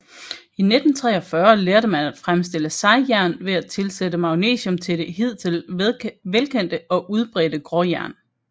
I 1943 lærte man at fremstille sejjern ved at tilsætte magnesium til det hidtil velkendte og udbredte gråjern